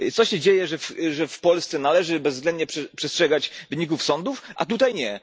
Co się dzieje, że w Polsce należy bezwzględnie przestrzegać wyników sądów, a tutaj nie?